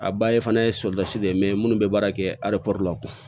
A ba ye fana ye de ye minnu bɛ baara kɛ la